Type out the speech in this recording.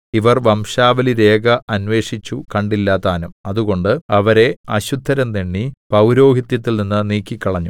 ഇവർ വംശാവലിരേഖ അന്വേഷിച്ചു കണ്ടില്ലതാനും അതുകൊണ്ട് അവരെ അശുദ്ധരെന്നെണ്ണി പൗരോഹിത്യത്തിൽ നിന്ന് നീക്കിക്കളഞ്ഞു